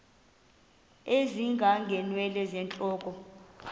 ezinga ngeenwele zentloko